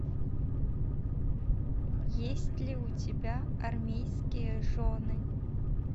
есть ли у тебя армейские жены